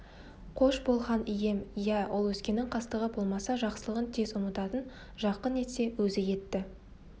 қош бол хан ием иә ол өзгенің қастығы болмаса жақсылығын тез ұмытатын жақын етсе өзі етті